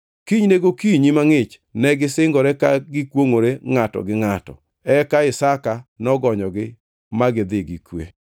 Kinyne gokinyi mangʼich negisingore ka gikwongʼore ngʼato gi ngʼato. Eka Isaka nogonyogi ma gidhi gi kwe.